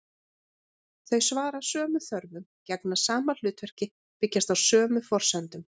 Þau svara sömu þörfum, gegna sama hlutverki, byggjast á sömu forsendum.